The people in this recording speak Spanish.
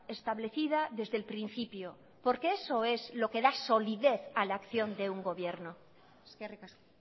establecida desde el principio porque eso es lo que da solidez a la acción de un gobierno eskerrik asko